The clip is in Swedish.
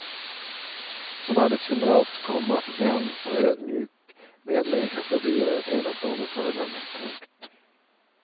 Som arbetskamrat, komma vän och ödmjuk medmänniska förblir han ett enastående föredöme. punkt